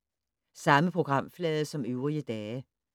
Samme programflade som øvrige dage